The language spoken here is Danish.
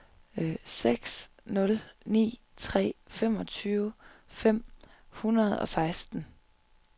seks nul ni tre femogtyve fem hundrede og seksten